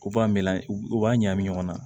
U b'a meleke u b'a ɲagami ɲɔgɔn na